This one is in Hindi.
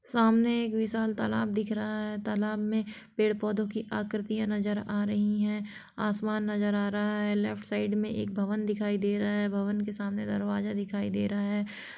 सामने एक विशाल तालाब दिख रहा है तालाब में पेड़-पौधों की आकृतियां नजर या रही है आसमान नजर आ रहा है लेफ्ट साइड में एक भवन दिखाई दे रहा है भवन के सामने दरवाजा दिखाई दे रहा है।